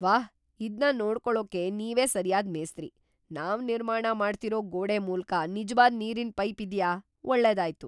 ವಾಹ್, ಇದ್ನ ನೋಡ್ಕೊಳೋಕೆ ನೀವೇ ಸರಿಯಾದ ಮೇಸ್ತ್ರಿ. ನಾವ್ ನಿರ್ಮಾಣ ಮಾಡ್ತಿರೋ ಗೋಡೆ ಮೂಲ್ಕ ನಿಜ್ವಾದ್ ನೀರಿನ್ ಪೈಪ್ ಇದ್ಯಾ ? ಒಳ್ಳೆದಾಯ್ತು